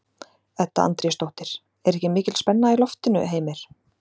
Edda Andrésdóttir: Er ekki mikil spenna í loftinu, Heimir?